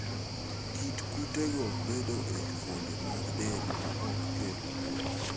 Kit kutego bedo e fuonde mag del maok kel tuoche.